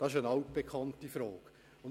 Es handelt sich um eine altbekannte Frage.